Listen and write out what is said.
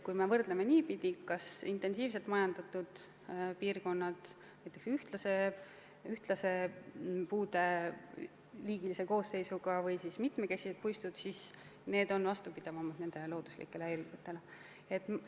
Kui me võrdleme intensiivselt majandatud piirkondi, kus on ühtlane puude liigiline koosseis, ja mitmekesiseid puistuid, siis viimased on looduslikele häiringutele vastupidavamad.